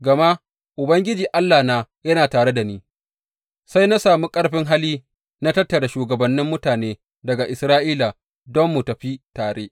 Gama Ubangiji Allahna yana tare da ni, sai na sami ƙarfin hali na tattara shugabannin mutane daga Isra’ila, don mu tafi tare.